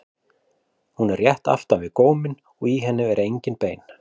Hún er rétt aftan við góminn og í henni eru engin bein.